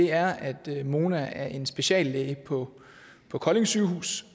er at mona af en speciallæge på på kolding sygehus